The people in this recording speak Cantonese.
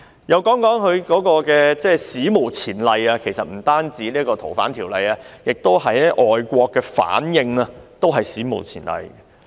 讓我談談她的一些"史無前例"的做法，其實不僅是《逃犯條例》，外國的反應也是史無前例的。